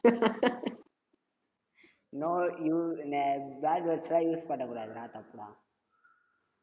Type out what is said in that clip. no you bad words எல்லாம் use பண்ணகூடாதுடா தப்புடா